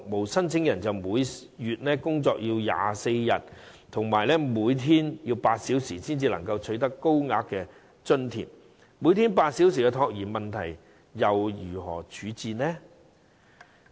當申請人要每月工作24天、每天8小時，才可獲得高額津貼，那他們如何處理每天8小時的託兒問題呢？